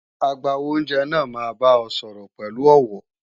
Agbàwo-óunjẹ náà máa bá ọ sọ̀rọ̀ pẹ̀lú ọ̀wọ̀